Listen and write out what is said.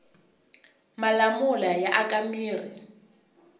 malamula ya aka mirhi